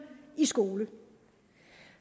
i skole